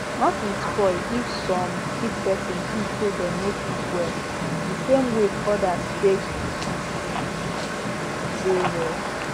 nothing spoil if some sick person thinks say dem no fit well the same way others take dey well